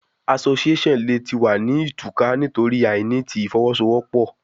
Association le ti wa ni tuka nitori aini ti ifowosowopo